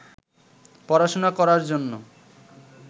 পড়াশুনা করার জন্য